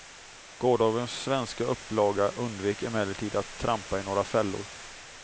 Gårdagens svenska upplaga undvek emellertid att trampa i några fällor.